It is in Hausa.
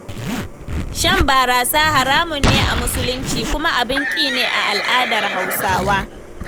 Shan barasa haramun ne a muslunci, kuma abin ƙi ne a al'adar Hausawa.